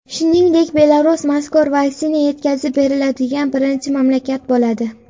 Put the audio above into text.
Shuningdek, Belarus mazkur vaksina yetkazib beriladigan birinchi mamlakat bo‘ladi.